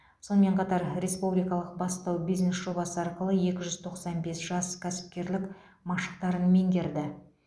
сонымен қатар республикалық бастау бизнес жобасы арқылы екі жүз тоқсан бес жас кәсіпкерлік машықтарын меңгерді